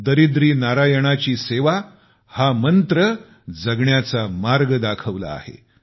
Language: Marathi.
गरीब नारायणांची सेवा हा मंत्र जगण्याचा मार्ग दाखविला आहे